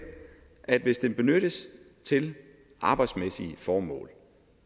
at hvis telefonen benyttes til arbejdsmæssige formål